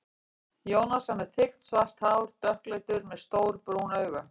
Jónas var með þykkt svart hár, dökkleitur, með stór brún augu.